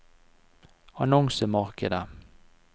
annonsemarkedet